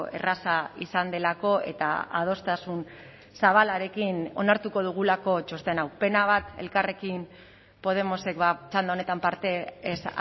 erraza izan delako eta adostasun zabalarekin onartuko dugulako txosten hau pena bat elkarrekin podemosek txanda honetan parte ez